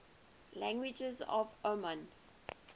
languages of oman